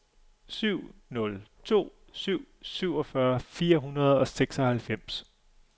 syv nul to syv syvogfyrre fire hundrede og seksoghalvfems